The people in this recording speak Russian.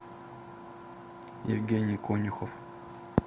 евгений конюхов